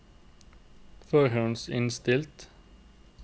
forhåndsinnstilt